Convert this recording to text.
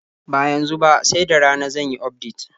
Ba yanzu ba, sai da rana zan yi ufdet.